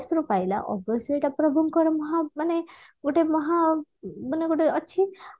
ରୁ ପାଇଲା ଅବଶ୍ୟ ଏଟା ପ୍ରଭୁଙ୍କର ମହା ମାନେ ଗୋଟେ ମହା ମାନେ ଗୋଟେ ଅଛି